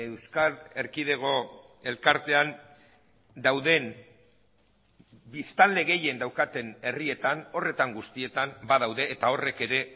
euskal erkidego elkartean dauden biztanle gehien daukaten herrietan horretan guztietan badaude eta horrek ere